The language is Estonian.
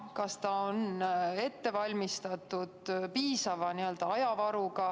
Kas see on ette valmistatud piisava ajavaruga?